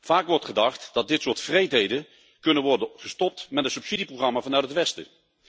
Vaak wordt gedacht dat dit soort wreedheden kan worden gestopt met een subsidieprogramma vanuit het Westen.